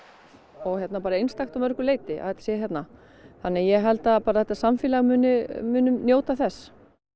og bara einstakt að mörgu leyti að þetta sé hérna þannig að ég held að þetta samfélag muni muni njóta þess